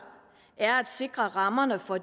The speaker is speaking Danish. er at sikre rammerne for